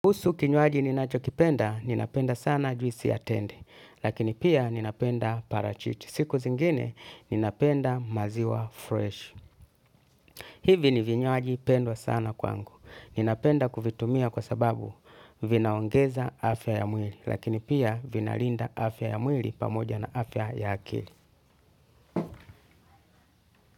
Usu kinywaji ninachokipenda, ninapenda sana juisi ya tende, lakini pia ninapenda parachichi. Siku zingine, ninapenda maziwa fresh. Hivi ni vinywaji pendwa sana kwangu. Ninapenda kuvitumia kwa sababu vinaongeza afya ya mwili, lakini pia vinalinda afya ya mwili pamoja na afya ya akili.